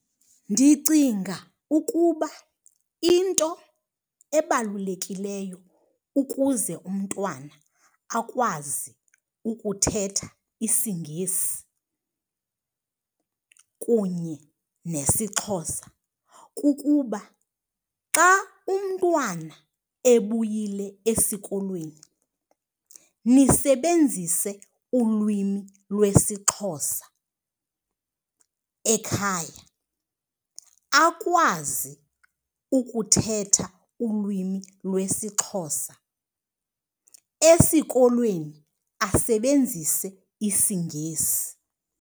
Ndicinga ukuba into ebalulekileyo ukuze umntwana akwazi ukuthetha isiNgesi kunye nesiXhosa kukuba xa umntwana ebuyile esikolweni nisebenzise ulwimi lwesiXhosa ekhaya, akwazi ukuthetha ulwimi lwesiXhosa. Esikolweni, asebenzise isiNgesi.